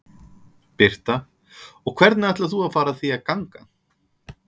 Birta: Og hvernig ætlar þú að fara að því að ganga?